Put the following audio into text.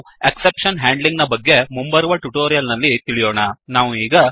ನಾವು exception handling exception handling ನ ಬಗ್ಗೆ ಮುಂಬರುವ ಟ್ಯುಟೋರಿಯಲ್ ನಲ್ಲಿ ತಿಳಿಯೋಣ